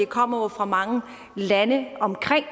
kommer fra mange lande omkring